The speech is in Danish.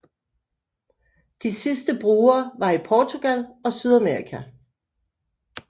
De sidste brugere var i Portugal og Sydamerika